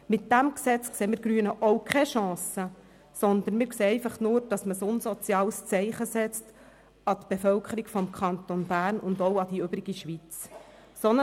In diesem Gesetz sehen wir Grünen auch keine Chance, sondern wir sehen nur, dass man ein unsoziales Zeichen für die Bevölkerung des Kantons Bern und die übrige Schweiz setzt.